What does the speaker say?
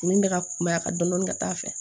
Min bɛ ka kunbɛ a ka dɔɔnin ka taa a fɛ